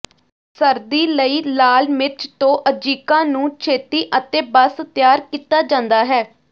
ਸਰਦੀ ਲਈ ਲਾਲ ਮਿਰਚ ਤੋਂ ਅਜਿਕਾ ਨੂੰ ਛੇਤੀ ਅਤੇ ਬਸ ਤਿਆਰ ਕੀਤਾ ਜਾਂਦਾ ਹੈ